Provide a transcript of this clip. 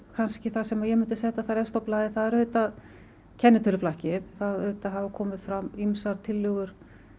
kannski það sem ég myndi setja þar efst á blaði er auðvitað kennitöluflakkið það auðvitað hafa komið fram ýmsar tillögur